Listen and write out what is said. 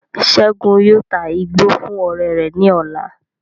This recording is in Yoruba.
Segun yóò tá igbó fún ọrẹ rẹ ní ọ̀la